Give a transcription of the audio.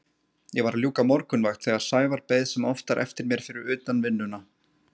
Ég var að ljúka morgunvakt þegar Sævar beið sem oftar eftir mér fyrir utan vinnuna.